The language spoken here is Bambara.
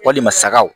Walima sagaw